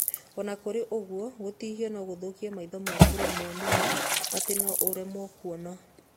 Ona kũrĩ ũguo, gũtihio no gũthũkie maitho maku rĩmwe mũno atĩ no ũremwo kwona.